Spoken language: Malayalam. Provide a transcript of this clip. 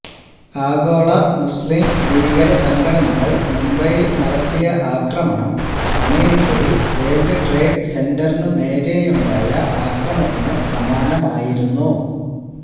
ആഗോള മുസ്ലിം ഭീകരസംഘടനകൾ മുംബൈയിൽ നടത്തിയ ആക്രമണം അമേരിക്കയിൽ വേൾഡ് ട്രേഡ് സെന്ററിനു നേരെയുണ്ടായ അക്രമത്തിനു സമാനമായിരുന്നു